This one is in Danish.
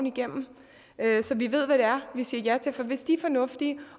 igennem så vi ved hvad det er vi siger ja til for hvis de er fornuftige